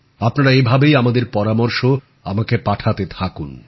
আপনারা এভাবেই আপনাদের পরামর্শ আমায় পাঠাতে থাকুন